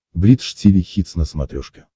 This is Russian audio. бридж тиви хитс на смотрешке